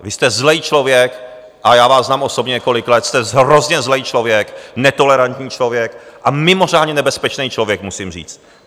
Vy jste zlej člověk a já vás znám osobně několik let, jste hrozně zlej člověk, netolerantní člověk a mimořádně nebezpečnej člověk, musím říct.